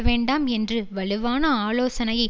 வேண்டாம் என்று வலுவான ஆலோசனையை